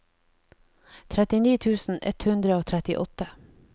trettini tusen ett hundre og trettiåtte